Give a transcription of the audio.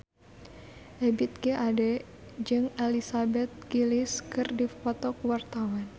Ebith G. Ade jeung Elizabeth Gillies keur dipoto ku wartawan